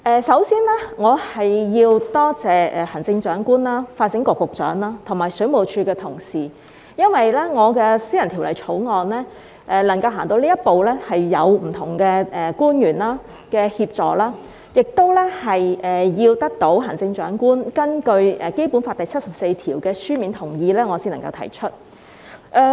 首先，我要多謝行政長官、發展局局長和水務署的同事，因為我的私人條例草案能夠走到這一步，是有賴不同官員的協助，也要得到行政長官根據《基本法》第七十四條的書面同意，我才能夠提出。